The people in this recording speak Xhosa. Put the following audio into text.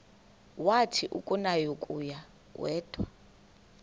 wathi akunakuya wedw